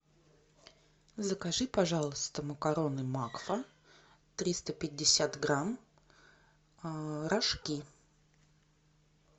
закажи пожалуйста макароны макфа триста пятьдесят грамм рожки